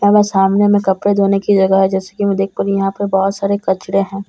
सामने में कपड़े धोने की जगह है जैसे की मैं देख पा रही हूँ यहाँ पे बहुत सारे कचरे हैं।